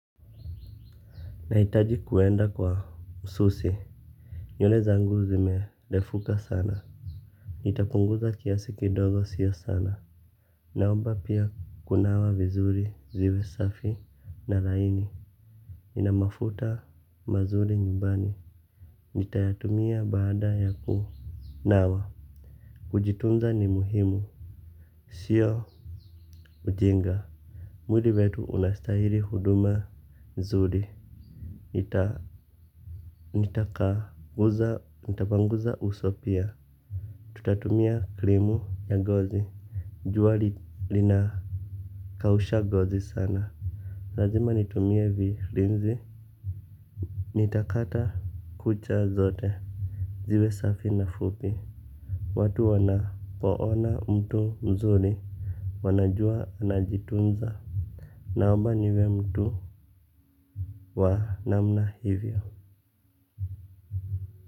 Naitaji kuenda kwa msusi. Nywele zangu zimerefuka sana. Nitapunguza kiasi kidogo sio sana. Naomba pia kunawa vizuri zive safi na laini nina mafuta mazuri nyumbani. Nitayatumia baada ya kunawa. Kujitunza ni muhimu. Sio Ujinga. Mwili wetu unastaili huduma zuri. Ita nitaka uza nitapanguza uso pia. Tutatumia krimu ya ngozi jua linakausha gozi sana. Lazima nitumie vilinzi. Nitakata kucha zote ziwe safi na fupi. Watu wanapoona mtu mzuri wanajua anajitunza. Naomba niwe mtu wa namna hivyo.